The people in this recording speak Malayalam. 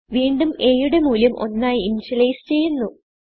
വീണ്ടും aയുടെ മൂല്യം 1 ആയി initializeചെയ്യുന്നു